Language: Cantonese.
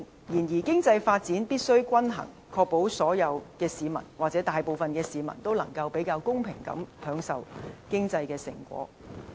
然而，經濟發展必須均衡，確保所有市民或大部分市民能夠比較公平地享受經濟成果。